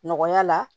Nɔgɔya la